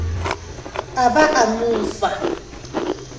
a ba a mo fa